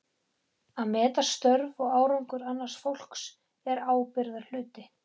Að meta störf og árangur annars fólks er ábyrgðarhluti.